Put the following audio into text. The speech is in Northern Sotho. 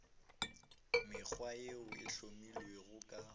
mekgwa yeo e hlomilwego ka